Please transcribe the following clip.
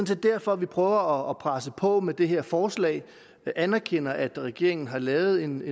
set derfor vi prøver at presse på med det her forslag vi anerkender at regeringen har lavet en